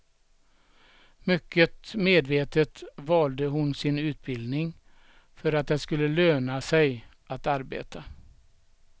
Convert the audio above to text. Mycket medvetet valde hon sin utbildning för att det skulle löna sig att arbeta.